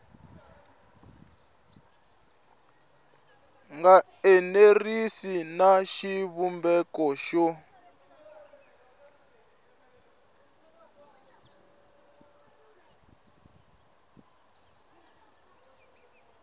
nga enerisi na xivumbeko xo